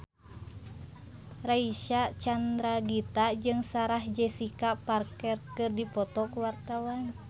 Reysa Chandragitta jeung Sarah Jessica Parker keur dipoto ku wartawan